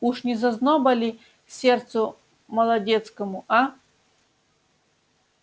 уж не зазноба ли сердцу молодецкому аа